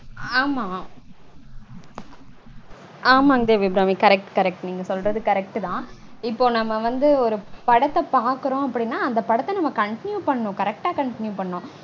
ஆமாங்க Devi Abirami. correct correct நீங்க சொல்றது correct -தா. இப்போ நாம வந்து ஒரு படத்த பாக்கறோம் அப்டீனா அந்த படத்த நம்ம continue பண்ணனும். Correct -ஆ continue பண்ணனும்.